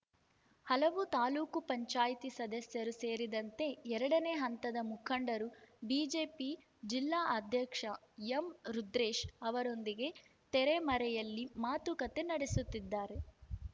ಹಲವು ತಾಲೂಕು ಪಂಚಾಯ್ತಿ ಸದಸ್ಯರು ಸೇರಿದಂತೆ ಎರಡನೇ ಹಂತದ ಮುಖಂಡರು ಬಿಜೆಪಿ ಜಿಲ್ಲಾಧ್ಯಕ್ಷ ಎಂರುದ್ರೇಶ್‌ ಅವರೊಂದಿಗೆ ತೆರೆಮರೆಯಲ್ಲಿ ಮಾತುಕತೆ ನಡೆಸುತ್ತಿದ್ದಾರೆ